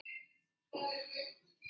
Veistu hvar þau eru?